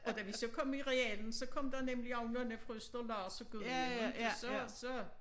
Og da vi så kom i realen så kom der nemlig også nogle fra Østerlars og Gudhjem inte så så